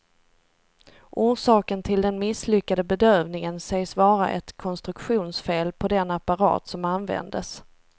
Orsaken till den misslyckade bedövningen sägs vara ett konstruktionsfel på den apparat som användes.